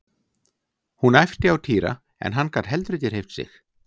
Hún æpti á Týra en hann gat heldur ekki hreyft sig.